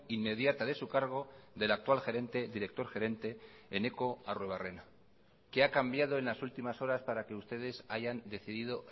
inmediata de su cargo del actual gerente director gerente eneko arruebarrena qué ha cambiado en las últimas horas para que ustedes hayan decidido